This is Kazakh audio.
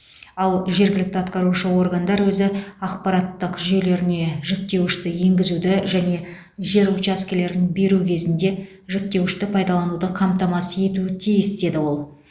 ал жергілікті атқарушы органдар өзі ақпараттық жүйелеріне жіктеуішті енгізуді және жер учаскелерін беру кезінде жіктеуішті пайдалануды қамтамасыз етуі тиіс деді ол